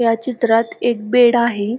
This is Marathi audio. या चित्रात एक बेड आहे.